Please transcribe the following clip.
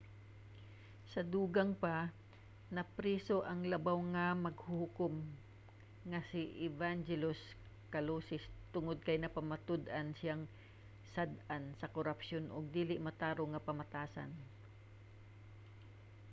sa dugang pa napriso ang labaw nga maghuhukom nga si evangelos kalousis tungod kay napamatud-an siyang sad-an sa korapsyon ug dili matarong nga pamatasan